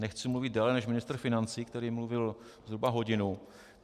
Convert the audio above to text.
Nechci mluvit déle než ministr financí, který mluvil zhruba hodinu.